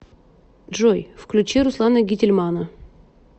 джой включи руслана гительмана